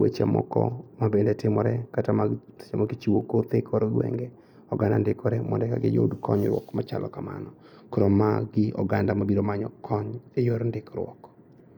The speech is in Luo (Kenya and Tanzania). weche moko mabende timore kata ma sechemoko ichiwo kothe e kor gwenge. Oganda ndikore mondo eka giyud konyruok machalo kamano. Koro magi oganda mabiro manyo kony e yor ndikkruok.